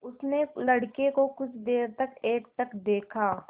उसने लड़के को कुछ देर तक एकटक देखा